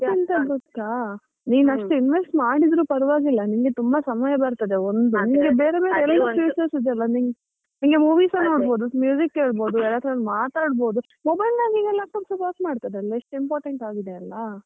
ಎಂತ ಗೊತ್ತಾ ಅಷ್ಟು investment ಮಾಡಿದ್ರು ಪರವಾಗಿಲ್ಲ ನಿಂಗೆ ತುಂಬಾ ಸಮಯ ಬರ್ತದೆ ಒಂದು ನಿಂಗೆ ಬೇರೆ ಎಲ್ಲ features ಇದೆ ಅಲಾ ನಿಂಗೆ ನೋಡಬೋದು, ಮ್ಯೂಸಿಕ್ ಕೇಳ್ಬೋದು, ಯಾರತ್ರ ಆದ್ರು ಮಾತಾಡಬೋದು mobile ನ ಹಾಗೆ ಈಗ laptop ಹಾಗೆ ವರ್ಕ್ ಮಾಡ್ತದಲ್ಲ ಎಷ್ಟ್ important ಆಗಿದೆ ಅಲ್ಲಾ.